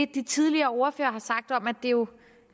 de tidligere ordførere har sagt om at det jo